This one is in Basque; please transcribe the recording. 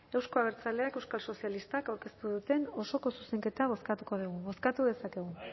euzko abertzaleak euskal sozialistak aurkeztu duten osoko zuzenketa bozkatuko dugu bozkatu dezakegu